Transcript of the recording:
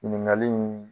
Ɲininkali in